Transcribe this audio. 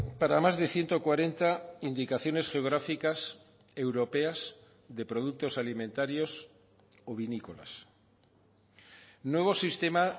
para más de ciento cuarenta indicaciones geográficas europeas de productos alimentarios o vinícolas nuevo sistema